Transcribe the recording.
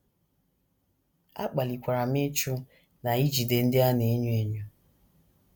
A kpalikwara m ịchụ na ijide ndị a na - enye enyo. ”